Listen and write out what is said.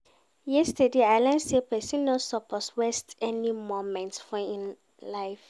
Yesterday, I learn sey pesin no suppose waste any moment for im life.